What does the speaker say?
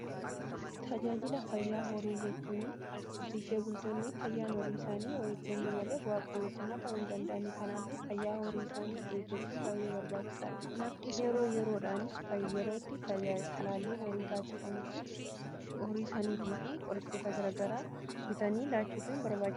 tajaajila fayyaa horii jechuun horsiisee bultoonni fayyaan horii isaanii yoo eegame malee bu'aa qabeessummaa ta'u hin dandeenye. kanaaf fayyaa horii isaanii eeggachuun baay'ee barbaachisaadha. yeroo yerootti talaalliin horii taasifamu horii isaaniitii fi qorichoota garaa garaa bitanii laachuun barbaachisadha.